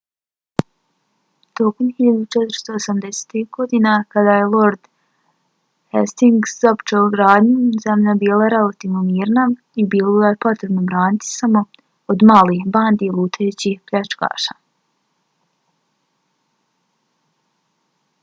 tokom 1480-ih godina kada je lord hastings započeo gradnju zemlja je bila relativno mirna i bilo ju je potrebno braniti samo od malih bandi lutajućih pljačkaša